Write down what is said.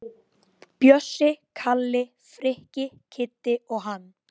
Bjössi, Kalli, Frikki, Kiddi og hann.